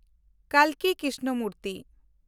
ᱠᱟᱞᱠᱤ Krishnamurti